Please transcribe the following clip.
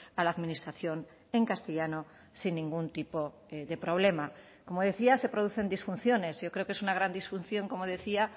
a la administración en castellano sin ningún tipo de problema como decía se producen disfunciones yo creo que es una gran disfunción como decía